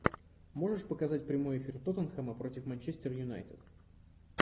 можешь показать прямой эфир тоттенхэма против манчестер юнайтед